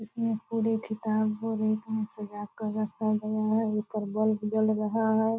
इसमें पूरे किताब को रेक में सजा कर रखा गया है एकर बल्ब जल रहा है।